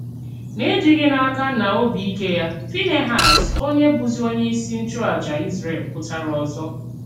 N'ejìghì n'ákà nà òbì íké ya, Fínèhàs, onye bùzì onye ìsì nchụ̀àjà Ìzrèl, pụtara òzò.